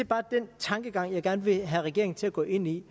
bare den tankegang jeg gerne vil have regeringen til at gå ind i